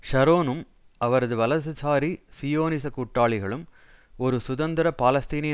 ஷரோனும் அவரது வலதுசாரி சியோனிச கூட்டாளிகளும் ஒரு சுதந்திர பாலஸ்தீனிய